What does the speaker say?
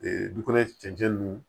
du kɔnɔ cɛncɛn nunnu